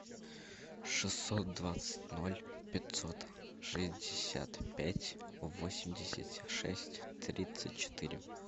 шестьсот двадцать ноль пятьсот шестьдесят пять восемьдесят шесть тридцать четыре